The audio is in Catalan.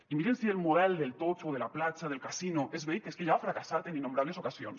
i miren si el model del totxo de la platja del casino és vell que és que ja ha fracassat en innombrables ocasions